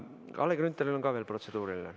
Kalle Grünthalil on ka veel protseduuriline.